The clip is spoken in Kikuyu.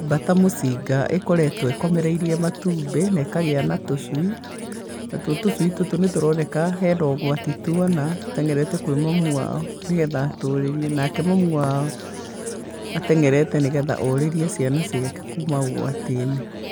Mbata mũcinga ĩkoretwo ĩkomereirie matumbĩ, na ĩkagĩa na tũcui. Na tuo tũcui tũtũ nĩ tũroneka hena ũgwati tuona, tũteng'erete kwĩ mamu wao nĩgetha atũrĩrie. Nake mamu wao, ateng'erete nĩgetha orĩrie ciana ciake kuma ũgwati-inĩ.